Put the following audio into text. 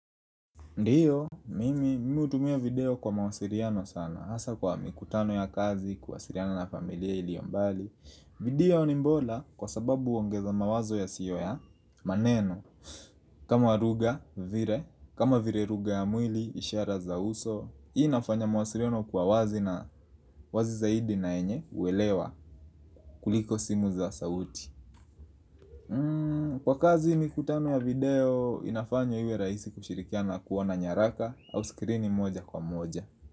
Ndio, mimi hutumia video kwa mawasiriano sana Hasa kwa mikutano ya kazi kuwasiriana na familia iliyombali video ni bora kwa sababu huongeza mawazo ya siyo ya maneno kama lugha, vile, kama vile rugha ya mwili, ishara za uso inafanya mawasiliano kwa wazi na wazi zaidi na yenye huelewa kuliko simu za sauti Kwa kazi mikutano ya video inafanya iwe raisi kushirikiana kuona nyaraka au skrini moja kwa moja.